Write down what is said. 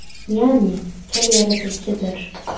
Ya’ni til – yaratuvchidir.